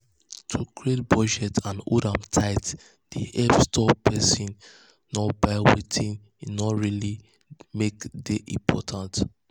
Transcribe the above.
to create budget and hold am tight dey help stop person nor buy wetin no really make dey important.